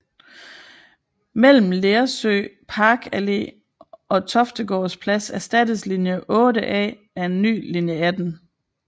Mellem Lersø Parkallé og Toftegårds Plads erstattedes linje 8A af en ny linje 18